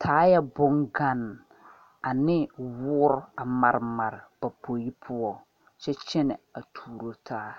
taa bungani ane woɔri a mare ba poɛ pou kye kyene a tuoro taa.